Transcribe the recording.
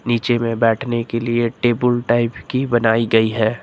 नीचे में बैठने के लिए टेबुल टाइप की बनाई गई है।